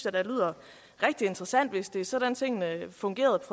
at det lyder rigtig interessant hvis det var sådan tingene fungerede